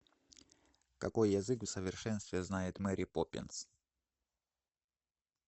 какой язык в совершенстве знает мэри поппинс